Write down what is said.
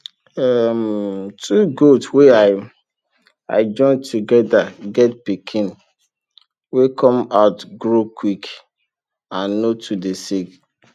um two goat wey i i join together get pikin wey come out grow quick and no too dey sick